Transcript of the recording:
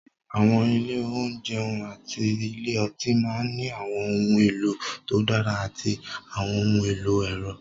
Àwọn ilé ìjẹun àti ilé ọtí máa ní àwọn ohun èlò tó dára àti àwọn ohun èlò ẹ̀rọ